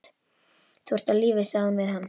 Þú ert á lífi sagði hún við hann.